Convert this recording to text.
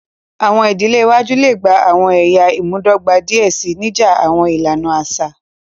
Awọn idile iwaju le gba awọn ẹya imudọgba diẹ sii, nija awọn ilana aṣa.